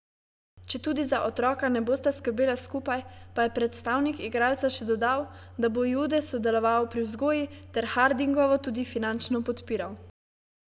Četudi za otroka ne bosta skrbela skupaj, pa je predstavnik igralca še dodal, da bo Jude sodeloval pri vzgoji, ter Hardingovo tudi finančno podpiral.